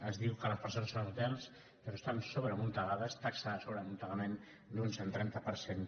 es diu que les presons són hotels però estan sobreamuntegades taxa de sobreamuntegament d’un cent i trenta per cent